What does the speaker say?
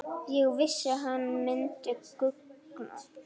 Ég vissi hann myndi guggna!